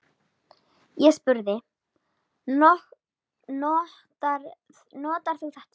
Ég spurði: Notar þú þetta?